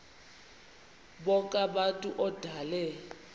bonk abantu odale